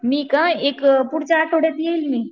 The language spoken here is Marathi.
मी का एक पुढच्या आठवड्यात येईल मी.